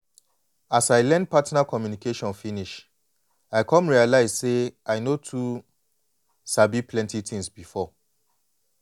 as i learn partner communication finish i come realize say i no too sabi plenty things before.